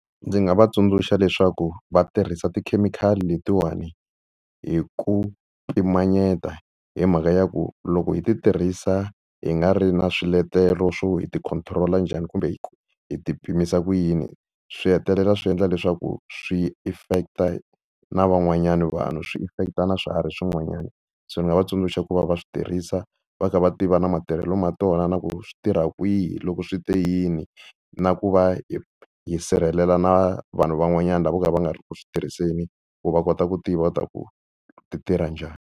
Ndzi nga va tsundzuxa leswaku va tirhisa tikhemikhali letiwani hi ku pimanyeta hi mhaka ya ku loko hi ti tirhisa hi nga ri na swiletelo swo hi ti-control njhani kumbe hi ti pimisa ku yini, swi hetelela swi endla leswaku swi affect na van'wanyana vanhu. Swi affect na swiharhi swin'wanyana. So ni nga va tsundzuxa ku va va swi tirhisa va kha va tiva na natirhelo ya tona na ku swi tirha kwihi loko swi te yini na ku va hi hi sirhelela na vanhu van'wanyana lava vo ka va nga ri ku tirhiseni ku va kota ku tiva ku ti tirha njhani.